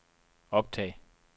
optag